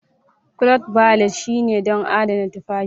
Cloth Valet shine don adana tufafi.